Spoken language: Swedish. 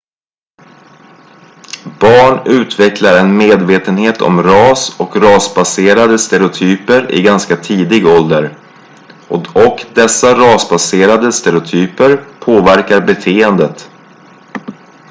barn utvecklar en medvetenhet om ras och rasbaserade stereotyper i ganska tidig ålder och dessa rasbaserade stereotyper påverkar beteendet